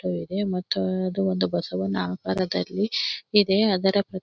ಇದೆ ಮತ್ತು ಇದು ಒಂದು ಬಸವನ ಆಕಾರದಲ್ಲಿಇದೆ ಅದರ.--